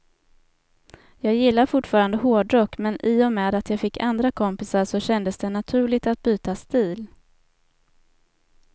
Jag gillar fortfarande hårdrock, men i och med att jag fick andra kompisar så kändes det naturligt att byta stil.